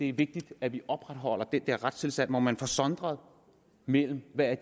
er vigtigt at vi opretholder den retstilstand hvor man får sondret mellem hvad